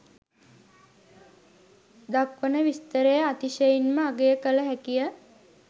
දක්වන විස්තරය අතිශයින්ම අගය කළ හැකිය